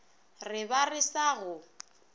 re ba re sa go